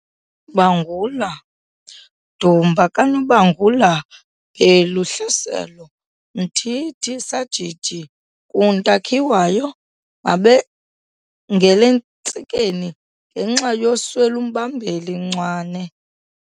Bangula- Dumba kaNobangula Bhelu Hlaselo Mthithi Sajiji Nkunta Khiwayo Mabengel'entsikeni ngenxa yoswel'umbambeli Mcwane